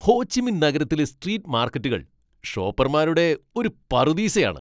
Ho Chi Minh നഗരത്തിലെ street മാർക്കറ്റുകൾ ഷോപ്പർമാരുടെ ഒരു പറുദീസയാണ്.